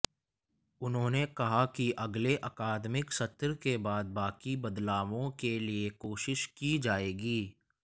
उन्होंने कहा कि अगले अकादमिक सत्र के बाद बाकी बदलावों के लिए कोशिश की जाएगी